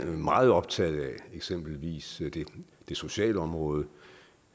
meget optaget af eksempelvis det sociale område